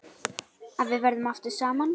Að við verðum aftur saman.